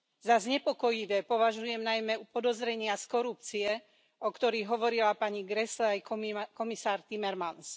Za znepokojivé považujem najmä podozrenia z korupcie, o ktorých hovorila pani Grässle aj komisár Timmermans.